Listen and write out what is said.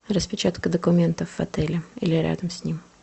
распечатка документов в отеле или рядом с ним